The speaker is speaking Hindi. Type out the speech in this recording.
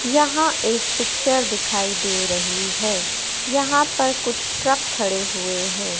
यहां एक पिक्चर दिखाई दे रही है। यहां पर कुछ ट्रक खड़े हुए हैं।